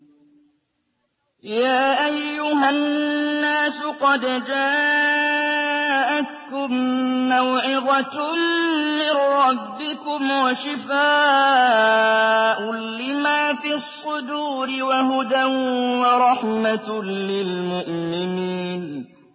يَا أَيُّهَا النَّاسُ قَدْ جَاءَتْكُم مَّوْعِظَةٌ مِّن رَّبِّكُمْ وَشِفَاءٌ لِّمَا فِي الصُّدُورِ وَهُدًى وَرَحْمَةٌ لِّلْمُؤْمِنِينَ